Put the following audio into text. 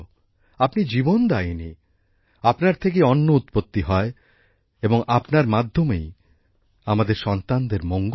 আপনি জীবনদায়িনী আপনার থেকেই অন্ন উৎপত্তি হয় এবং আপনার মাধ্যমেই আমাদের সন্তানদের মঙ্গল হয়